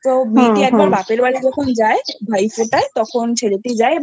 তো দিদি যখন বাপের বাড়ি যায় ভাই ফোটায় তখন ছেলেটি যায়